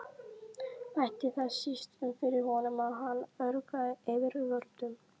Bætti það síst um fyrir honum, að hann ögraði yfirvöldum.